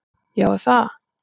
Já er það!